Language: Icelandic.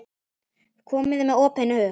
Komið með opinn hug.